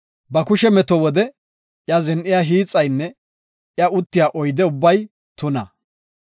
“Ba kushe meto wode iya zin7iya hiixaynne iya uttiya oydey ubbay tuna.